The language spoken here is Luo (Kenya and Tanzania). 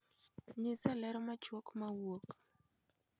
nyisa ler machuok ma wuok